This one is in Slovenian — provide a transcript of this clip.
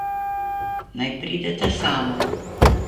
Naj prideta sama.